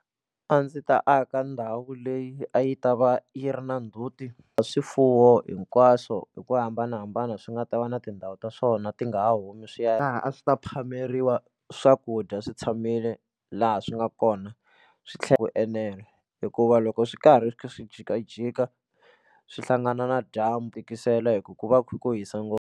A ndzi ta aka ndhawu leyi a yi ta va yi ri na ndzhuti swifuwo hinkwaswo hi ku hambanahambana swi nga ta va na tindhawu ta swona ti nga ha humi swi ya laha a swi ta phameriwa swakudya swi tshamile laha swi nga kona swi tlhela ku enela hikuva loko swi karhi swi kha swi jikajika swi hlangana na dyambu tikisela hikuva ku va kha ku hisa ngopfu.